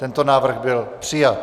Tento návrh byl přijat.